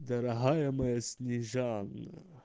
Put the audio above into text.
дорогая моя снежана